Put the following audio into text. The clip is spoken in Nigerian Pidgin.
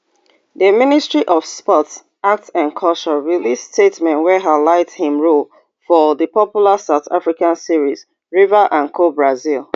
di ministry of sports art and culture release statement wey highlight im role for di popular south african series river and cobrizzi